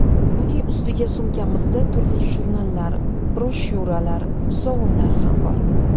Buning ustiga, sumkamizda turli jurnallar, broshyuralar, sovunlar ham bor.